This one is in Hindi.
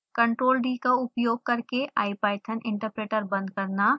ctrl+d का उपयोग करके ipython interpreter बंद करना